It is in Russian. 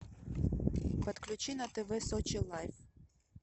подключи на тв сочи лайф